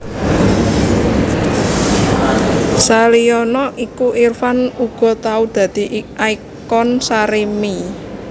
Saliyane iku Irfan uga tau dadi ikon Sarimi